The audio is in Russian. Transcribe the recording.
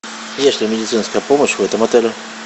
есть ли медицинская помощь в этом отеле